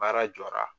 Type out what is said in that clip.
Baara jɔra